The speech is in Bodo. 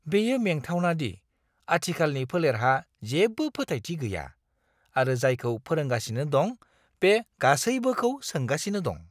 बेयो मेंथावना दि आथिखालनि फोलेरहा जेबो फोथायथि गैया आरो जायखौ फोरोंगासिनो दं बे गासैबोखौ सोंगासिनो दं।